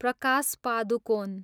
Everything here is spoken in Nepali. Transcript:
प्रकाश पादुकोन